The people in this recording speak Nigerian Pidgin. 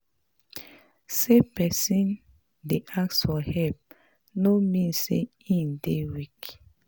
Sey pesin dey ask for help no mean sey im dey weak.